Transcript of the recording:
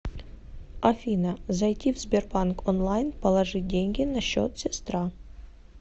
афина зайти в сбербанк онлайн положить деньги на счет сестра